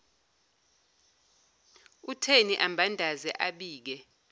utheni ambandaze abike